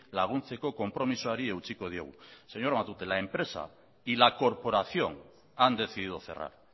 laguntzeko konpromisoari eutsiko diogu señor matute la empresa y la corporación han decidido cerrar